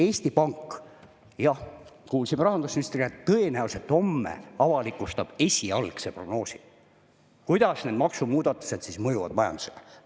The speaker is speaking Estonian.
Eesti Pank – jah, kuulsime rahandusministri käest – tõenäoliselt homme avalikustab esialgse prognoosi, kuidas need maksumuudatused mõjuvad majandusele.